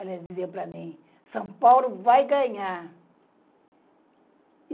Ela dizia para mim, São Paulo vai ganhar.